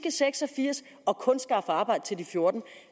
seks og firs og kun skaffe arbejde til de fjortende